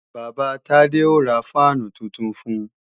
Bàbá Tade ó ra fáànù tuntun fun